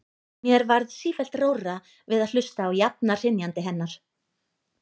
Mér varð sífellt rórra við að hlusta á jafna hrynjandi hennar.